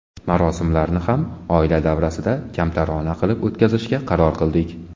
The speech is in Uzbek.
Marosimlarni ham oila davrasida, kamtarona qilib o‘tkazishga qaror qildik.